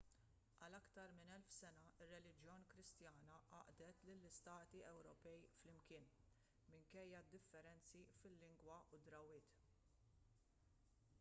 għal aktar minn elf sena r-reliġjon kristjana għaqdet lill-istati ewropej flimkien minkejja d-differenzi fil-lingwa u d-drawwiet i